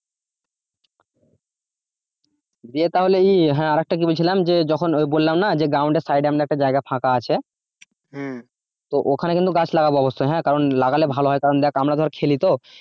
দিয়ে তাহলে হ্যাঁ আর একটা কি বলছিলাম যখন বললাম না যে ground এর সাইডে আমরা একটা জায়গা ফাঁকা আছে তো ওখানে কিন্তু গাছ লাগাব অবশ্যই হ্যাঁ কারন লাগালে ভাল হয় কারন দেখ আমরা ধর খেলি তো?